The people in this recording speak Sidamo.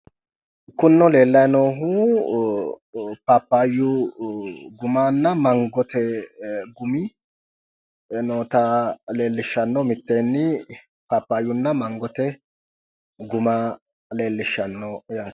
Kunino leellayi noohu paappaayyu gumanna mangote gumi noota lellishshanno mitteenni paappayyunna mangote guma leellishshanno yaate.